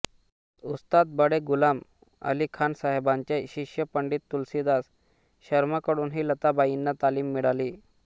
उस्ताद बडे गुलाम अली खान साहेबांचे शिष्य पंडित तुलसीदास शर्मांकडूनही लताबाईंना तालीम मिळाली